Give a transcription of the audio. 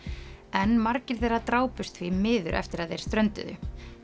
en margir þeirra drápust því miður eftir að þeir strönduðu